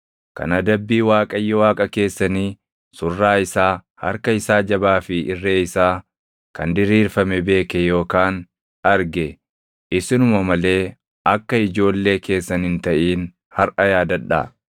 Kan adabbii Waaqayyo Waaqa keessanii, surraa isaa, harka isaa jabaa fi irree isaa kan diriirfame beeke yookaan arge isinuma malee akka ijoollee keessan hin taʼin harʼa yaadadhaa.